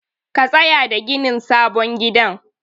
Ka tsaya da ginin sabon gidan.